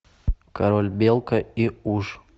король белка и уж